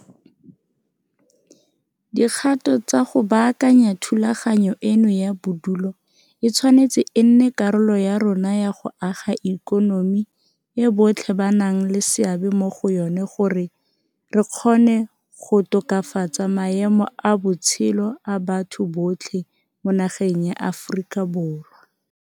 Dikgato tsa go baakanya thulaganyo eno ya bodulo e tshwanetse e nne karolo ya rona ya go aga ikonomi e botlhe ba nang le seabe mo go yona gore re kgone go tokafatsa maemo a botshelo a batho botlhe mo nageng ya Aforika Borwa.